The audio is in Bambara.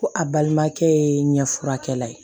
Ko a balimakɛ ye ɲɛfurakɛla ye